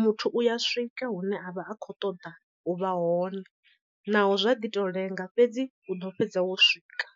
muthu u ya swika hune a vha a khou ṱoḓa u vha hone naho zwa ḓi to lenga fhedzi u ḓo fhedza wo swika.